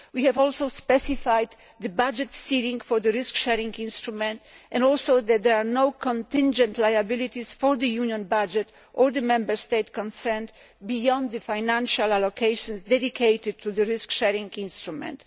We have also specified the budget ceiling for the risk sharing instrument, and we have specified that there are no contingent liabilities for the Union budget or the Member State concerned beyond the financial allocations dedicated to the risk sharing instrument.